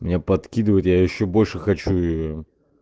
мне подкидывать я ещё больше хочу её